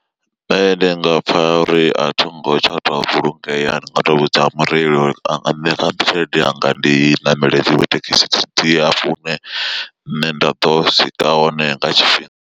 Nṋe ndi nga pfa uri a thingo tsha tou vhulungea ndi nga to vhudza mureili uri anga nṋea tshelede yanga ndi ṋamela iṅwe thekhisi ndi hafha hune nṋe nda ḓo swika hone nga tshifhinga.